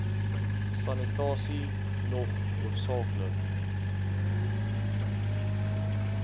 sanitasie nog hoofsaaklik